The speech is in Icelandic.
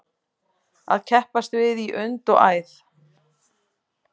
Að keppast við í und og æð